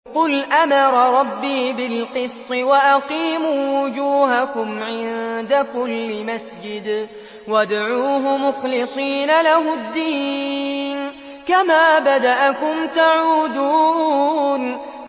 قُلْ أَمَرَ رَبِّي بِالْقِسْطِ ۖ وَأَقِيمُوا وُجُوهَكُمْ عِندَ كُلِّ مَسْجِدٍ وَادْعُوهُ مُخْلِصِينَ لَهُ الدِّينَ ۚ كَمَا بَدَأَكُمْ تَعُودُونَ